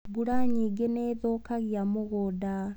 Mbura nyingĩ nĩ thũkagia mũgũnda